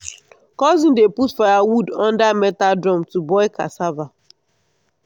cousin dey put firewood under metal drum to boil cassava.